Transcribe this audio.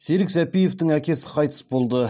серік сәпиевтің әкесі қайтыс болды